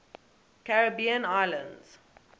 caribbean islands